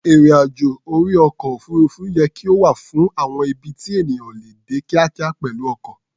Ìrìn-àjò orí ọkọ̀-òfuurufú yẹ kí ó wà fún àwọn ibi tí ènìyàn ò lè dé kíákíá pẹ̀lú ọkọ̀.